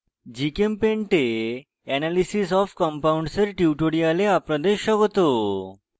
gchempaint এ analysis of compounds এর tutorial আপনাদের স্বাগত